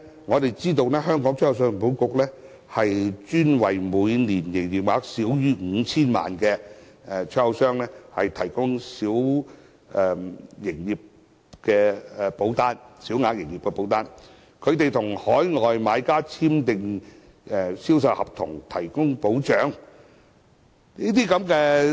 我們知道信保局專為每年營業額少於 5,000 萬元的出口商提供小營業額保單，為出口商與海外買家簽訂銷售合約，提供保障。